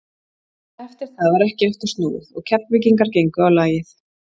Eftir það var ekki aftur snúið og Keflvíkingar gengu á lagið.